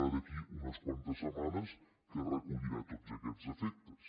o d’aquí a unes quantes setmanes que recollirà tots aquestes efectes